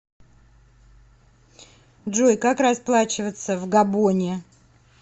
джой как расплачиваться в габоне